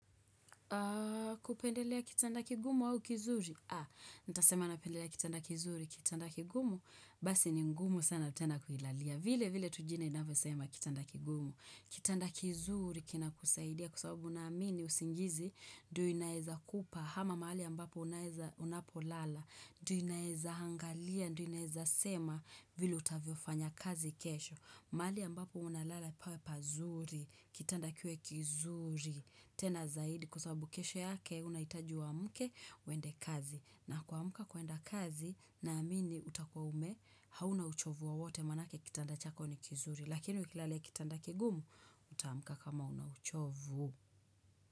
Kupendelea kitanda kigumu au kizuri? Ha, nitasema napendelea kitanda kizuri, kitanda kigumu, basi ni ngumu sana tena kuilalia. Vile vile tu jina inavyosema kitanda kigumu. Kitanda kizuri kina kusaidia kwa sababu naamini, usingizi, ndio inaeza kupa. Hama mahali ambapo unaeza unapolala, ndio inaeza angalia, ndio inaeza sema vile utavyofanya kazi kesho. Mahali ambapo unalala pawe pazuri, kitanda kiwe kizuri, tena zaidi kwa sababu kesho yake unaitaji uamke uende kazi. Na kuamka kuenda kazi naamini utakua ume, hauna uchovu wowote manake kitanda chako ni kizuri. Lakini ukilalia kitanda kigumu, utaamka kama una uchovu.